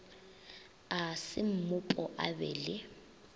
a semmupo a be le